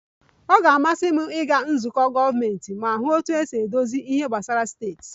Ọ ga-amasị m ịga nzukọ gọọmentị ma hụ otú e si edozi ihe gbasara steeti